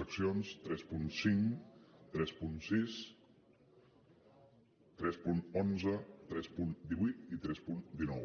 seccions trenta cinc trenta sis tres cents i onze tres cents i divuit i tres cents i dinou